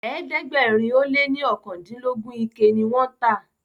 ẹ̀ẹ́dẹ̀gbẹ̀rin o lẹ ní okandilogun ike ní wón tá.